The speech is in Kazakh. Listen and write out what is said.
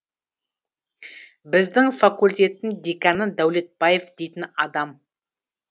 біздің факультеттің деканы дәулетбаев дейтін адам